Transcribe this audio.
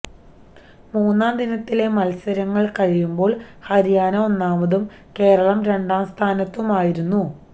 മൂന്നാം ദിനത്തിലെ മത്സരങ്ങള് കഴിയുമ്പോള് ഹരിയാന ഒന്നാമതും കേരളം രണ്ടാം സ്ഥാനത്തുമായിരുന്നു